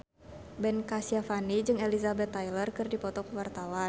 Ben Kasyafani jeung Elizabeth Taylor keur dipoto ku wartawan